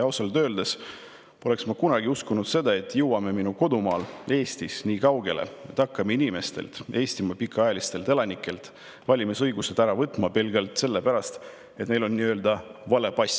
Ausalt öeldes poleks ma kunagi uskunud, et jõuame minu kodumaal Eestis nii kaugele, et hakkame Eestimaa pikaajalistelt elanikelt valimisõigust ära võtma pelgalt sellepärast, et neil on nii-öelda vale pass.